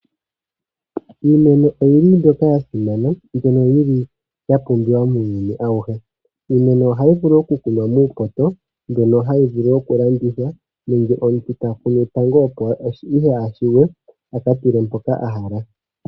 Iimeno oyi li mbyoka ya simana mbyono yi li ya pumbiwa muuyuni awuhe. Iimeno ohayi vulu okukunwa muupoto mbyono hayi vulu okulandithwa nenge omuntu ta kunu tango opo ihe ashuwe a ka tule mpoka a hala.